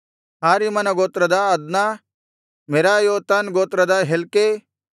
ಹಾರಿಮನ ಗೋತ್ರದ ಅದ್ನ ಮೆರಾಯೋತನ್ ಗೋತ್ರದ ಹೆಲ್ಕೈ